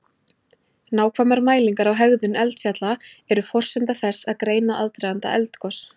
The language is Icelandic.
Nákvæmar mælingar á hegðun eldfjalla eru forsenda þess að greina aðdraganda eldgos.